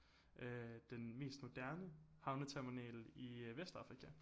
Øh den mest moderne havneterminal i øh Vestafrika